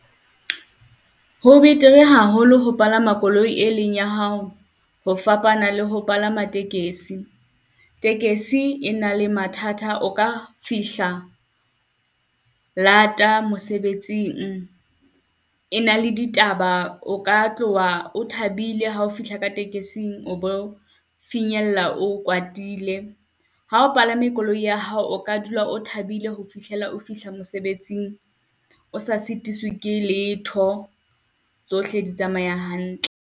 Ho betere haholo ho palama koloi e leng ya hao, ho fapana le ho palama tekesi. Tekesi e na le mathata, o ka fihla lata mosebetsing e na le ditaba, o ka tloha o thabile hao fihla ka tekesing o bo finyella o kwatile. Ha o palame koloi ya hao, o ka dula o thabile ho fihlela o fihla mosebetsing o sa sitiswi ke letho, tsohle di tsamaya hantle.